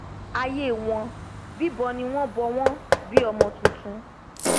aiyé wọn bíbọ ni wọn bọ wọn bi ọmọ tuntun